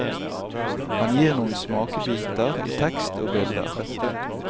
Han gir noen smakebiter i tekst og bilder.